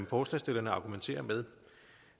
forslagsstillerne argumenterer med